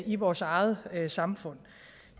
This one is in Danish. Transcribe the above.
i vores eget samfund